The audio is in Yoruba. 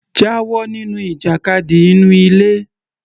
Jáwọ nínú ìjàkadì inú ilé